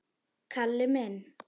Kalli minn!